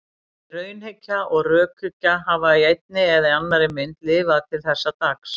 Bæði raunhyggja og rökhyggja hafa í einni eða annarri mynd lifað til þessa dags.